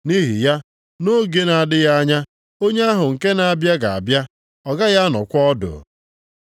Nʼihi, “Na oge na-adịghị anya, onye ahụ nke na-abịa ga-abịa ọ gaghị anọkwa ọdụ.”